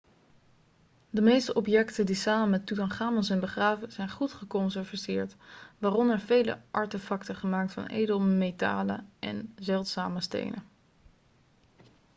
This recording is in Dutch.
de meeste objecten die samen met toetanchamon zijn begraven zijn goed geconserveerd waaronder vele artefacten gemaakt van edelmetalen en zeldzame stenen